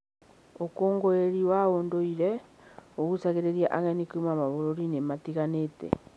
Ũkũngũĩri wa ũndũire ũgucagĩrĩria ageni kuuma mabũrũri-inĩ matiganĩte.